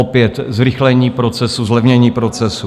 Opět zrychlení procesu, zlevnění procesu.